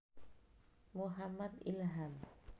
Muhammad Ilham